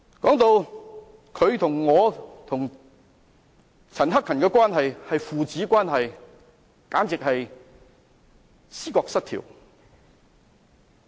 鄭議員說我與陳克勤議員的關係是父子關係，簡直是思覺失調。